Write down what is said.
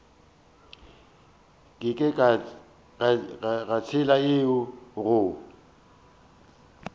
ke ka tsela yeo go